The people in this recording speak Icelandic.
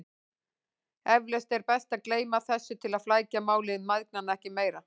Eflaust er best að gleyma þessu til að flækja mál mæðgnanna ekki meira.